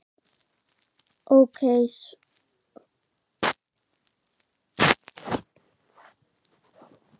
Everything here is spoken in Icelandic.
ok svæfir allar sakir.